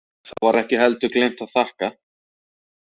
Þá var ekki heldur gleymt að þakka.